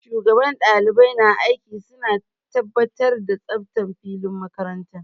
Shugaban ɗalibai na aiki suna tabbatar da tsaftar filin makaranta